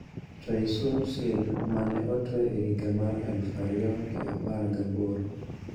Choi Soon-sil ma ne otwe e higa mar aluf ariyo ga apar gaboro